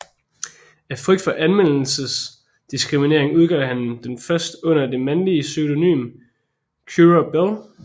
Af frygt for anmeldernes diskriminering udgav hun den først under det mandlige pseudonym Currer Bell